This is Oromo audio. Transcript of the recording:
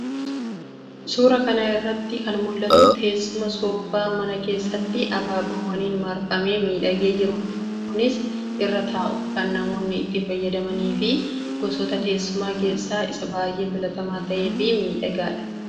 Suuraa kana irratti kan mul'atu teessuma soofaa mana kesssatti abaaboowwaniin marfamee miidhagee jiruudha. Kunis irra taa'uuf kan namoonni itti fayyadamnii fi gosoota teessumaa keessaa isa baayyee filatamaa ta'ee fi miidhagaadha.